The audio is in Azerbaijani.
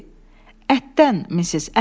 Ətdəndir, misis, ətdən.